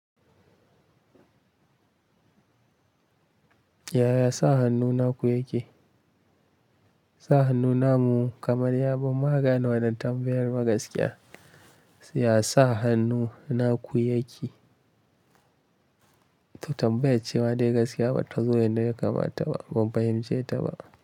Yaya sa hannu naku yake? Sa hannu namu kamar yabon magana wajen tambayar ma gaskiya. Ya sa hannu naku yake? To tambaye cema dai gaskiya bata zo yanda ya kamata ba, ban fahimce ta ba.